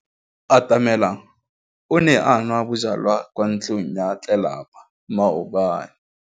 Atamelang o ne a nwa bojwala kwa ntlong ya tlelapa maobane.